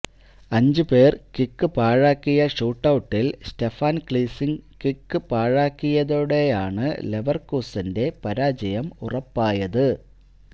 അഞ്ച് പേര് കിക്ക് പാഴാക്കിയ ഷൂട്ടൌട്ടില് സ്റ്റെഫാന് കീസ്ലിംഗ് കിക്ക് പാഴാക്കിയതോടെയാണ് ലെവര്കൂസന്റെ പരാജയം ഉറപ്പായത്